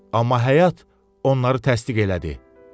Amma həyat onları təsdiq elədi.